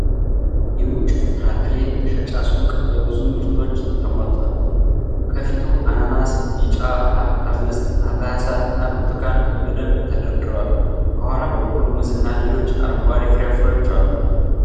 የውጪ ፍራፍሬ መሸጫ ሱቅ በብዙ ምርቶች ተሞልቷል:: ከፊቱ አናናስ፣ ቢጫ ሐብሐብና ብርቱካን በደንብ ተደርድረዋል:: ከኋላ በኩል ሙዝና ሌሎች አረንጓዴ ፍራፍሬዎች ይታያሉ::